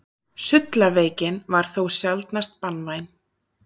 Sullaveikin var þó sjaldnast banvæn.